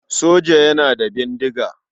Soja yana da bindiga.